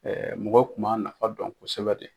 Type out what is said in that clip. mɔgɔw kun m'a nafa dɔn kosɛbɛ de.